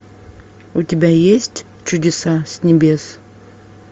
у тебя есть чудеса с небес